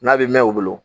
N'a bɛ mɛn u bolo